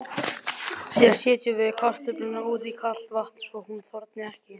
Síðan setjum við kartöfluna út í kalt vatn svo hún þorni ekki.